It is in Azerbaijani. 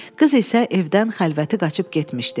Qız isə evdən xəlvəti qaçıb getmişdi.